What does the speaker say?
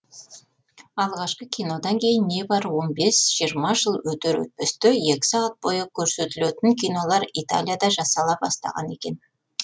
алғашқы кинодан кейін небары он бес жиырма жыл өтер өтпесте екі сағат бойы көрсетілетін кинолар италияда жасала бастаған екен